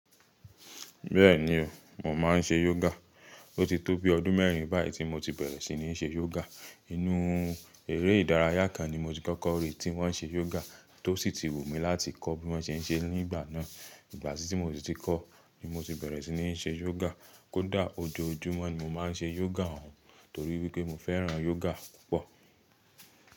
Bẹ́ẹ̀ni o, mo máa ń ṣe yoga. Ó ti tó bi ọdún mẹ́rin báyìí tí mo ti bẹ̀rẹ̀ sí ní ṣe yoga. Inú eré ìdárayá kan ni mo ti kọ́kọ́ rí tí wọ́n ṣe yoga, tó sì ti wùmí láti kọ́ bí wọ́n ṣe ń ṣe nígbà náà. Ìgbà sí tí mo ti kọ́ ni mo ti bẹ̀rẹ̀ sí ní ṣe yoga. Kódà ojoojúmọ́ ni mo máa ń ṣe yoga, torí wípé mo fẹ́ràn yoga púpọ̀.